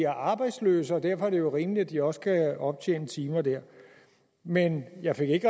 arbejdsløse og derfor er det rimeligt at de også kan optjene timer der men jeg fik ikke